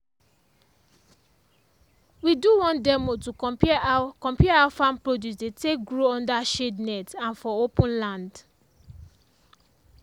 we do one demo to compare how compare how farm produce dey take grow under shade net and for open land.